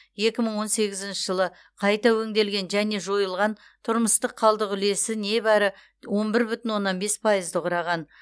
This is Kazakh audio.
екі мың он сегізінші жылы қайта өңделген және жойылған тұрмыстық қалдық үлесі небәрі он бір бүтін оннан бес пайызды құраған